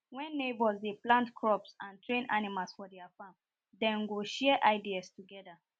wen neighbours dey plant crops and train animals for their farms dem go share ideas togeda